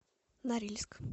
норильск